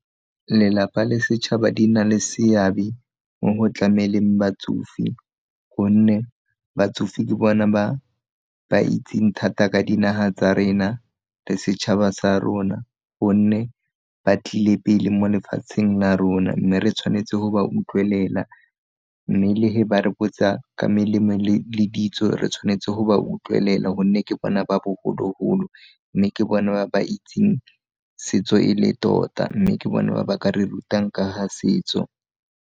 Lelapa le setšhaba di na le seabe mo go tlameleng batsofe, gonne batsofe ke bona ba ba itseng thata ka dinaga tsa rena le setšhaba sa rona, gonne ba tlile pele mo lefatsheng la rona mme re tshwanetse go ba utlwelela mme le ge ba re botsa ka melemo le ditso re tshwanetse go ba utlwelela gonne ke bona ba bogologolo mme ke bona ba ba itseng setso e le tota mme ke bona ba ba ka re rutang ka ga setso.